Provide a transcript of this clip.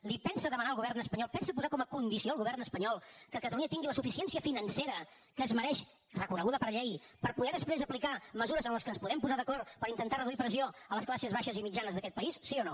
li pensa demanar al govern espanyol pensa posar com a condició al govern espanyol que catalunya tingui la suficiència financera que es mereix reconeguda per llei per poder després aplicar mesures en què ens podem posar d’acord per intentar reduir pressió a les classes baixes i mitjanes d’aquest país sí o no